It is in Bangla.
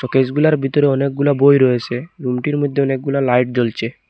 শোকেস গুলার ভিতরে অনেকগুলা বই রয়েছে রুম টির মধ্যে অনেকগুলা লাইট জ্বলছে।